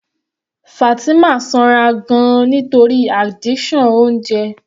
Fatima sanra gan-an nítorí addiction oúnjẹ.